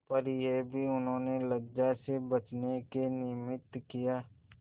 पर यह भी उन्होंने लज्जा से बचने के निमित्त किया